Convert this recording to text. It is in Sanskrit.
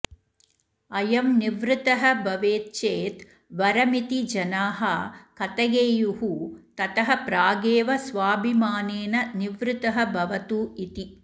अयं निवृत्तः भवेत् चेत् वरमिति जनाः कथयेयुः ततः प्रागेव स्वाभिमानेन निवृत्तः भवतु इति